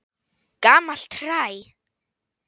Gamalt hræ.